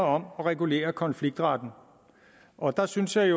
om at regulere konfliktretten og der synes jeg